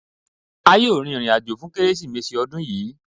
À yóò rìn ìrìn-àjọ́ fún Kérésììméṣí ní ọ̀dún yìí.